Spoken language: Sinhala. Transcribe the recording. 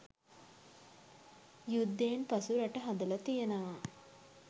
යුද්ධයෙන් පසු රට හදල තියෙනවා.